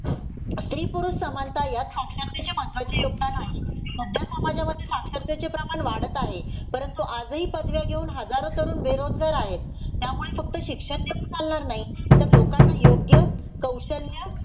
स्त्री पुरुष समानता यात साक्षरतेचे महत्वाचे योगदान आहे सध्या समाजामध्ये साक्षरतेचे प्रमाण वाढत आहे परंतु आज ही पदव्या घेऊन हजारो तरुण बेरोजगार आहेत त्यामुळे फक्त शिक्षण देऊन चालणार नाही तर लोकाना योग्य कौशल्य